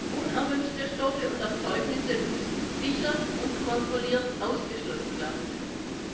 Unerwünschte Stoffe und Erzeugnisse müssen sicher und kontrolliert ausgeschlossen werden können.